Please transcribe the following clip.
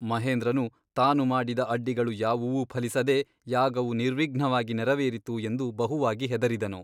ಮಹೇಂದ್ರನು ತಾನು ಮಾಡಿದ ಅಡ್ಡಿಗಳು ಯಾವುವೂ ಫಲಿಸದೆ ಯಾಗವು ನಿರ್ವಿಘ್ನವಾಗಿ ನೆರವೇರಿತು ಎಂದು ಬಹುವಾಗಿ ಹೆದರಿದನು.